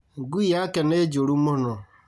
Ngui yake nĩ njũru mũno